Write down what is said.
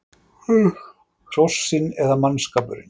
Hrossin eða mannskapurinn?